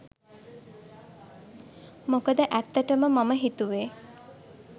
මොකද ඇත්තටම මම හිතුවෙ